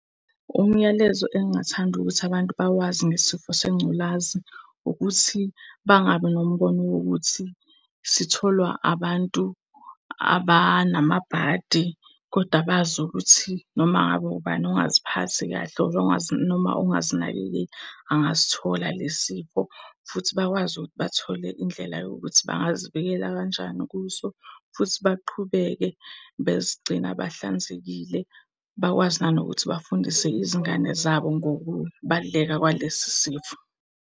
Umyalezo engingathanda ukuthi abantu bawazi ngesifo sengculazi ukuthi bangabi nombono wokuthi sitholwa abantu abanamabhadi. Koda bazi ukuthi noma ngabe ubani ongaziphathi kahle, or noma ongazinakekeli angasithola lesi sifo. Futhi bakwazi ukuthi bathole indlela yokuthi bangazivikela kanjani kuso, futhi baqhubeke bezigcina bahlanzekile, bakwazi nanokuthi bafundise izingane zabo ngokubaluleka kwalesi sifo.